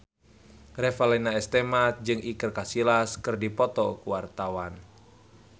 Revalina S. Temat jeung Iker Casillas keur dipoto ku wartawan